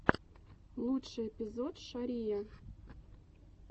лучший эпизод шария